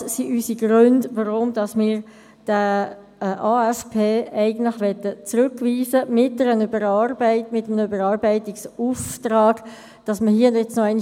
Das sind unsere Gründe, weshalb wir diesen AFP mit einem Überarbeitungsauftrag zurückweisen wollen.